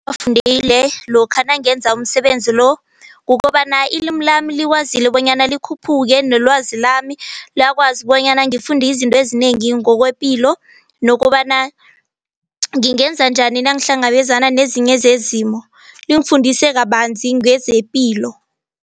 Lokha nangenza umsebenzi lo kukobana ilimi lami likwazile bonyana likhuphuke nelwazi lami liyakwazi bonyana ngifundizinto ezinengi ngokwepilo nokobana ngingenza njani nangihlangabezana nezinye zezimo lingifundise kabanzi ngezepilo.